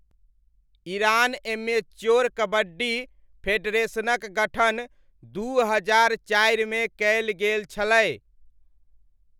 Iran amateur kabaddi फेडरेशनक गठन दू हजार चारिमे कयल गेल छलै।